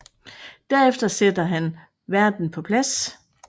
Derefter sætter han verden på plads